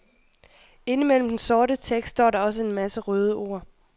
Inde imellem den sorte tekst står der også en masse røde ord.